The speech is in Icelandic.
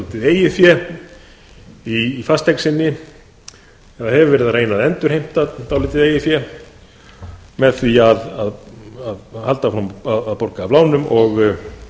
eitthvert dálítið eigið fé í fasteign sinni sem hefur verið að reyna að endurheimta dálítið eigið fé með því að halda áfram að borga af lánum og